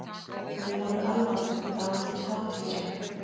Þau voru alvarleg, dálítið hátíðleg.